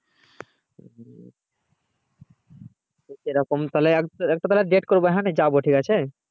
সেরকম তাহলে একটা তাহলে date করবো হুম নিয়ে যাবো